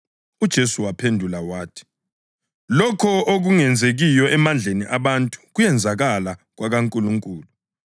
UJesu waphendula wathi, “Lokho okungenzekiyo emandleni abantu kuyenzakala kwakaNkulunkulu.”